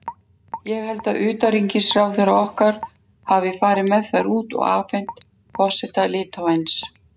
Ég held að utanríkisráðherrann okkar hafi farið með þær út og afhent forseta Litháens.